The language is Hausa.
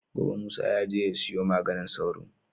Gobe musa yaje ya siyo maganin sauro